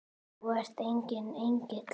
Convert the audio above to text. Þú ert enginn engill.